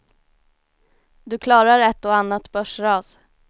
Du klarar ett och annat börsras.